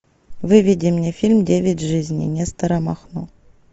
выведи мне фильм девять жизней нестора махно